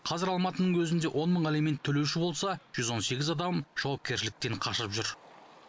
қазір алматының өзінде он мың алимент төлеуші болса жүз он сегіз адам жауапкершіліктен қашып жүр